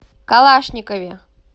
калашникове